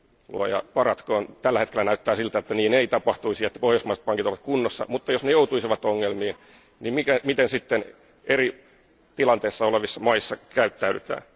Luoja paratkoon, tällä hetkellä näyttää siltä, että niin ei tapahtuisi ja että pohjoismaiset pankit ovat kunnossa, mutta jos ne joutuisivat ongelmiin, miten sitten eri tilanteissa olevissa maissa käyttäydytään?